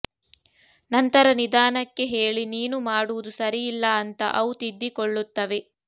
ನಂತರ ನಿದಾನಕ್ಕೆ ಹೇಳಿ ನೀನು ಮಾಡುವುದು ಸರಿಯಿಲ್ಲ ಅಂತ ಅವು ತಿದ್ದಿ ಕೊಳ್ಳುತ್ತವೆ